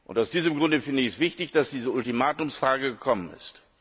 Aus diesem Grunde finde ich es wichtig, dass diese Ultimatumsfrage gekommen ist.